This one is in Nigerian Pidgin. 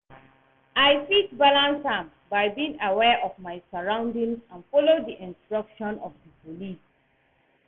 I fit balance am by being aware of my surroundings and follow di instructions of di police.